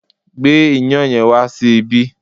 Gbé iyán yẹn wá sí ibí!